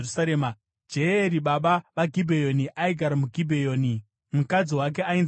Jeyeri baba vaGibheoni aigara muGibheoni. Mukadzi wake ainzi Maaka,